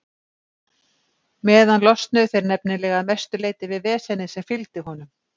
meðan losnuðu þeir nefnilega að mestu leyti við vesenið sem fylgdi honum.